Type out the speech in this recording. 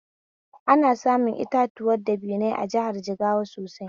Ana samun itatuwan dabinai a jihar Jigawa sosai